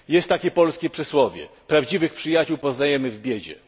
Jest takie polskie przysłowie Prawdziwych przyjaciół poznajemy w biedzie.